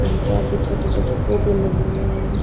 के छोटे छोटे पौधे लगे हुए हैं।